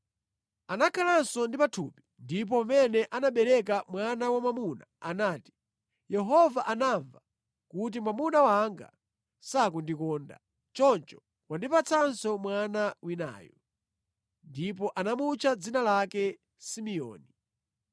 Anakhalanso ndi pathupi ndipo pamene anabereka mwana wamwamuna anati, “Yehova anamva kuti mwamuna wanga sakundikonda, choncho wandipatsanso mwana winayu.” Ndipo anamutcha dzina lake Simeoni.